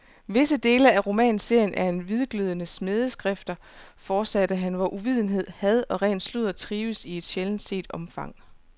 Visse dele af romanserien er hvidglødende smædeskrifter, fortsatte han, hvor uvidenhed, had og ren sludder trives i et sjældent set omfang.